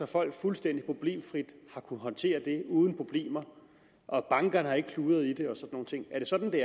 folk fuldstændig problemfrit har kunnet håndtere det og er det sådan at